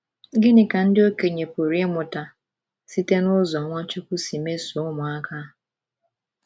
Gịnị ka ndị okenye pụrụ ịmụta site n’ụzọ Nwachukwu si mesoo ụmụaka?